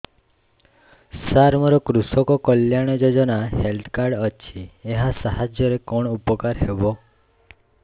ସାର ମୋର କୃଷକ କଲ୍ୟାଣ ଯୋଜନା ହେଲ୍ଥ କାର୍ଡ ଅଛି ଏହା ସାହାଯ୍ୟ ରେ କଣ ଉପକାର ହବ